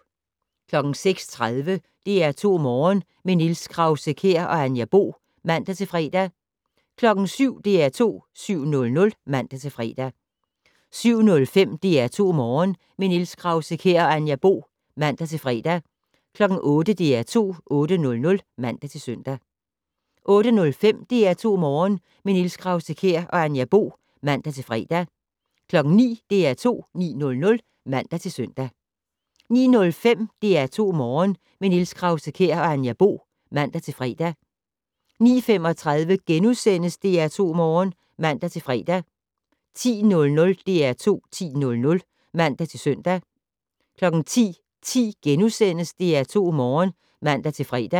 06:30: DR2 Morgen - med Niels Krause-Kjær og Anja Bo (man-fre) 07:00: DR2 7:00 (man-fre) 07:05: DR2 Morgen - med Niels Krause-Kjær og Anja Bo (man-fre) 08:00: DR2 8:00 (man-søn) 08:05: DR2 Morgen - med Niels Krause-Kjær og Anja Bo (man-fre) 09:00: DR2 9:00 (man-søn) 09:05: DR2 Morgen - med Niels Krause-Kjær og Anja Bo (man-fre) 09:35: DR2 Morgen *(man-fre) 10:00: DR2 10:00 (man-søn) 10:10: DR2 Morgen *(man-fre)